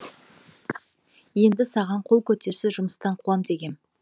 енді саған қол көтерсе жұмыстан қуам дегем